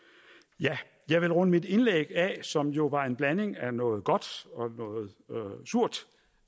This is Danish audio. jeg jeg vil runde mit indlæg af som jo var en blanding af noget godt og noget surt